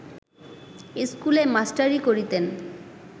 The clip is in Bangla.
স্কুলে মাস্টারি করিতেন